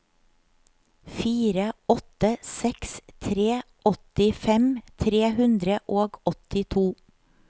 fire åtte seks tre åttifem tre hundre og åttito